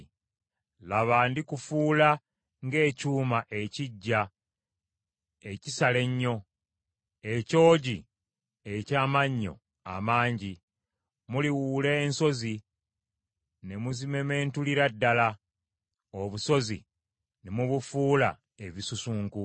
“Laba ndikufuula ng’ekyuma ekiggya ekisala ennyo, ekyogi eky’amannyo amangi. Muliwuula ensozi ne muzimementulira ddala, obusozi ne mubufuula ebisusunku.